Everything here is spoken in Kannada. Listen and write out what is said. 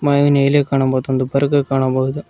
ಹಾಗೆ ನೀಲಿ ಕಾಣಬಹುದು ಒಂದು ಬರ್ಕ ಕಾಣಬಹುದು.